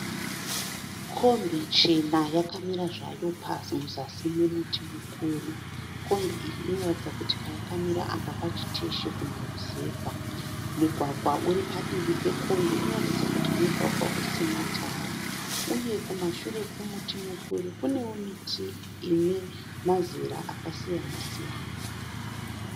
Kombi chena yakamira zvayo muzasi me muti mukuru. Kombi iyi inoratidza kuti payakamira apa pachiteshi kuma rusevha. Mugwagwa uri padivi pe kombi unoratidza kuti mugwagwa usina tara, uye kumashure kwe muti mukuru kunewo miti ine mazera akasiyana siyana. .